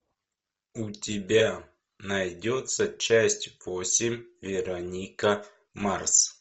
у тебя найдется часть восемь вероника марс